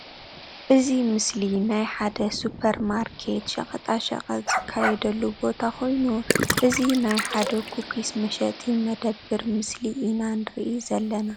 እዚ ምስሊ ናይ ሓደ ሱፐር ማርኬት ሸቀጣ ሽቅጥ ዝካይደሉ ቦታ ኮይኑ እዚ ናይ ሓድ ኩኪስ መሸጢ መደበሪ ምስሊ ኢና ንሪ ዝልና።